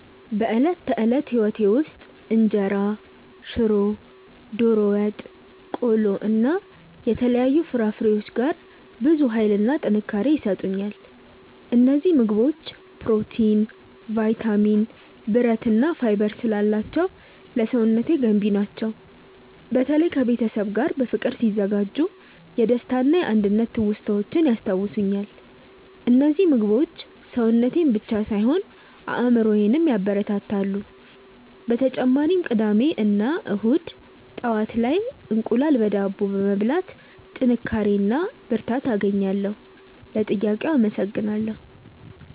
በዕለት ተዕለት ሕይወቴ ውስጥ እንጀራ፣ ሽሮ፣ ዶሮ ወጥ፣ ቆሎ እና የተለያዩ ፍራፍሬዎች ጋር ብዙ ኃይልና ጥንካሬ ይሰጡኛል። እነዚህ ምግቦች ፕሮቲን፣ ቫይታሚን፣ ብረት እና ፋይበር ስላላቸው ለሰውነቴ ገንቢ ናቸው። በተለይ ከቤተሰብ ጋር በፍቅር ሲዘጋጁ የደስታና የአንድነት ትውስታዎችን ያስታውሱኛል። እነዚህ ምግቦች ሰውነቴን ብቻ ሳይሆን አእምሮዬንም ያበረታታሉ። በተጨማሪም ቅዳሜ እና እሁድ ጠዋት ላይ እንቁላል በዳቦ በመብላት ጥንካሬ እና ብርታት አገኛለሁ። ለጥያቄው አመሰግናለሁ።